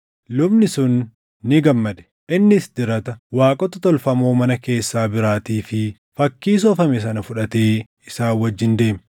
Lubni sun ni gammade. Innis dirata, waaqota tolfamoo mana keessaa biraatii fi fakkii soofame sana fudhatee isaan wajjin deeme.